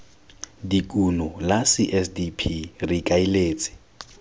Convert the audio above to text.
dikuno la csdp re ikaeletse